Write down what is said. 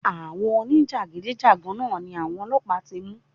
Àwọn oní jàgídíjàgan náà ni àwọn ọlọ́pàá ti mú.